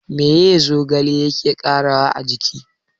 Meye zogale yake ƙarawa a jiki?